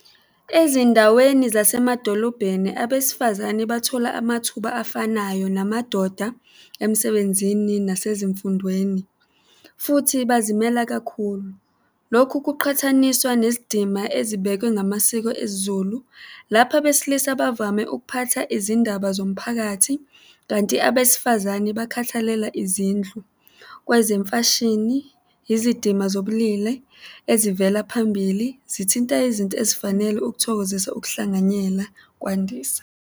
Ezindaweni zasemadolobheni abesifazane, bathola amathuba afanayo namadoda emsebenzini nasezimfundweni futhi bazimele kakhulu. Lokhu kuqhathaniswa nezidima ezibekwe ngamasiko esiZulu, lapho abesilisa bavame ukuphatha izindaba zomphakathi, kanti abesifazane bakhathalela izindlu. Kwezemfashini, izidima zobulili ezivela phambili zithinta izinto ezifanele ukuthokozisa ukuhlanganyela kwandisa.